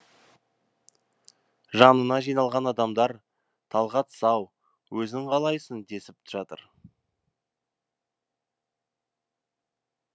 жанына жиналған адамдар талғат сау өзің қалайсың десіп жатыр